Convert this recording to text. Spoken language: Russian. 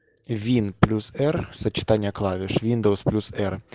вин плюс р сочетание клавиш виндовс плюс р